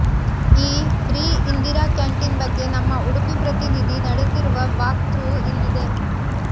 ಈ free Indira canteen ಬಗ್ಗೆ ನಮ್ಮ ಉಡುಪಿ ಪ್ರತಿನಿಧಿ ನಡೆಸಿರುವ ವಾಕ್ ಥ್ರೂ ಇಲ್ಲಿದೆ